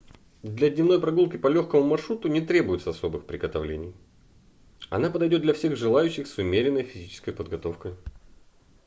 для дневной прогулки по легкому маршруту не требуется особых приготовлений она подойдет для всех желающих с умеренной физической подготовкой